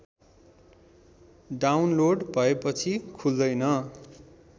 download भएपछि खुल्दैन